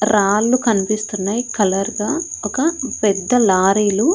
రాళ్ళు కన్పిస్తున్నాయ్ కలర్ గా ఒక పెద్ద లారీలు --